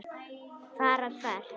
Fara hvert?